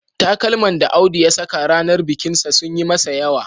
Takalman da Audu ya saka ranar bikinsa sun yi masa yawa